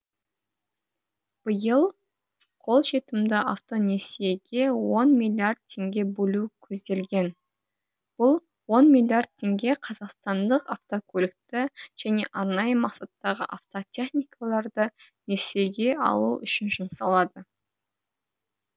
биыл қолжетімді автонесиеге он миллиард теңге бөлу көзделген бұл он миллиард теңге қазақстандық автокөлікті және арнайы мақсаттағы автотехникаларды несиеге алу үшін жұмсалады